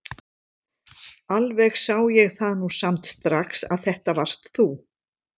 Alveg sá ég það nú samt strax að þetta varst þú!